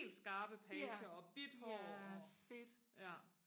helt skarpe pager og hvidt hår og ja